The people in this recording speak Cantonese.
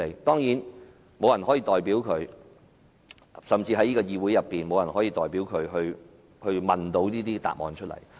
當然，沒有人可以代表他們，甚至在這個議會內也沒有議員可以代表他們提問，並得到答覆。